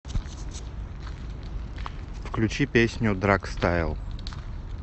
включи песню драгстайл